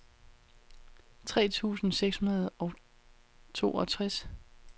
tres tusind seks hundrede og toogtres